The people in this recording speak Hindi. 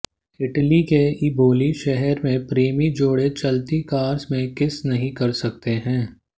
इटली के इबोली शहर में प्रेमी जोड़े चलती कार में किस नहीं कर सकते है